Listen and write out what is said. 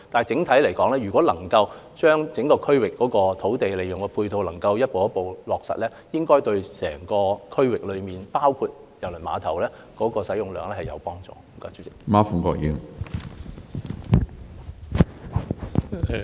整體來說，如果能夠利用整個區域內逐步落成的配套措施，應該對整個區域，包括郵輪碼頭在內的使用量有幫助。